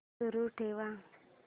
सुरू ठेव